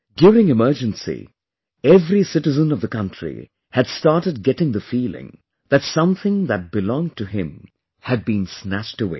During Emergency, every citizen of the country had started getting the feeling that something that belonged to him had been snatched away